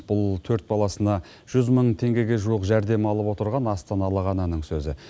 бұл төрт баласына жүз мың теңгеге жуық жәрдемақы алып отырған астаналық ананың сөзі